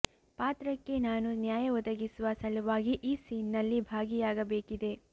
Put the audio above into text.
ಪಾತ್ರಕ್ಕೆ ನಾನು ನ್ಯಾಯ ಒದಗಿಸುವ ಸಲುವಾಗಿ ಈ ಸೀನ್ ನಲ್ಲಿ ಭಾಗಿಯಾಗಬೇಕಿದೆ